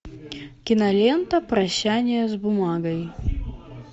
кинолента прощание с бумагой